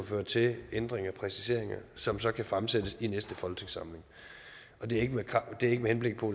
føre til ændringer og præciseringer som så kan fremsættes i næste folketingssamling og det er ikke med henblik på